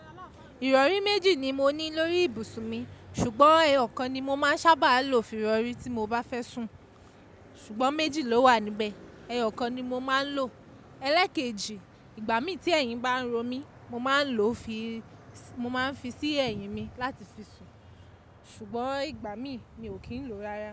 Ìrọ̀rí méjì ni mo ní lórí ibùsùn mi, ṣùgbọ́n ẹyọ kan ni mo máa ń sábà lo fi ro orí tí mo bá fẹ́ sùn. Ṣùgbọ́n méjì ló wà níbẹ̀, ẹyọ kan ni mo máa ń lò. Ẹlẹ́ẹ̀kejì, ìgbà mí tí ẹ̀yìn bá ń ro mí, mo máa ń lo fi, mo máa ń fi sí ẹ̀yìn mi láti fi sùn. Ṣùgbọ́n ìgbà mí, mi ò kí ń lò rára.